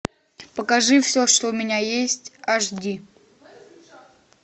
покажи все что у меня есть аш ди